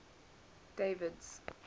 david's